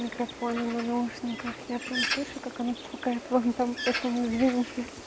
микрофоны на наушниках я прям слышу как она цокает вон там поэтому извините